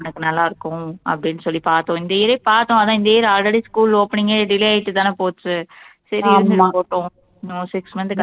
அவனுக்கு நல்லா இருக்கும் அப்படீன்னு சொல்லி பார்த்தோம் இந்த year ஏ பார்த்தோம் அதான் இந்த year already school opening ஏ delay ஆயிட்டுதான போச்சு சரி இருந்துட்டு போட்டும் இன்னும் six month க்கு